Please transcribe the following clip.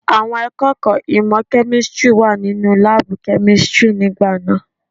Àwọn akẹ́kọ̀ọ́ ìmọ̀ kẹ́místìrì wà nínú láàbù kẹ́místìrì nígbà náà.